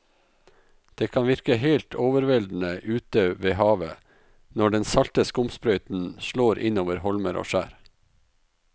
Det kan virke helt overveldende ute ved havet når den salte skumsprøyten slår innover holmer og skjær.